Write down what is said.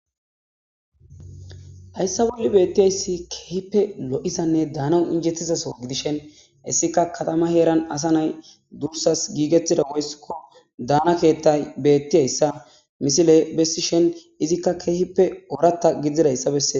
hayssa bui beettiyayssi keehippe lo7isanne daana injettizaso gidishen hissika katama heeran asa nay dursas giigettida woyssikko daana keettay beettiyayssa misile bessi shen izikka keehippe ooratta giddzidayssa bessee